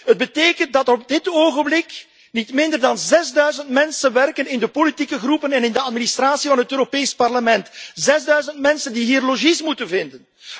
Het betekent dat op dit ogenblik niet minder dan zesduizend mensen werken in de politieke fracties en in de administratie van het Europees Parlement, zesduizend mensen die hier logies moeten vinden.